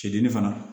Cɛdini fana